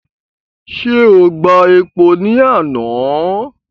Ṣé o gba epo ni àná?